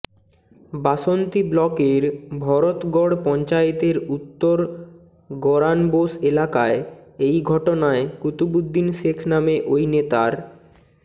বাসন্তী ব্লকের ভরতগড় পঞ্চায়েতের উত্তর গরানবোস এলাকায় এই ঘটনায় কুতুবুদ্দিন শেখ নামে ওই নেতার